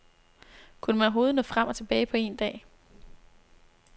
Kunne man overhovedet nå frem og tilbage på en dag?